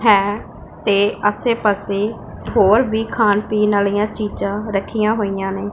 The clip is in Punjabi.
ਹੈ ਤੇ ਆਸੇ ਪਾਸੇ ਹੋਰ ਵੀ ਖਾਣ ਪੀਣ ਵਾਲੀਆਂ ਚੀਜ਼ਾਂ ਰੱਖੀਆਂ ਹੋਈਆਂ ਨੇ।